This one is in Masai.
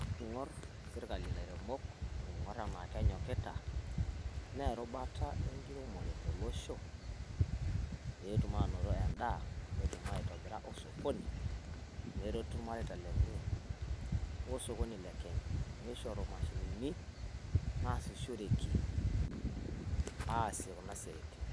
Ing`orr sirkali lairemok neing`orr enaa kenyokita naa erubata e nkiremore tolosho, pee etum aanoto endaa netum aitobira osokoni. Neretu ilmareita lenye o sokoni le Kenya nishoru mashinini naasishoreki, aasie kuna siaitin